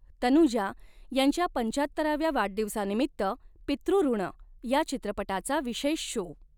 तनुजा यांच्या पंचाहत्तराव्या वाढदिवसानिमित्त पितृऋण या चित्रपटाचा विशेष शो